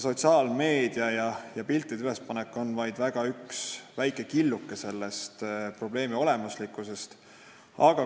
Sotsiaalmeedia ja piltide ülespanek on selle probleemi olemusest vaid üks killuke.